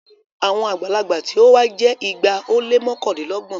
Àwọn àgbàlagbà tí o wa jẹ igba o le mọkandinlọgbọn